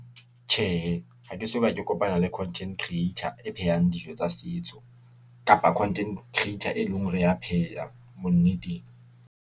Tjhehe, ha ke soka ke kopana le content creator e phehang dijo tsa setso, kapa content creator e leng hore ya pheha bonneteng.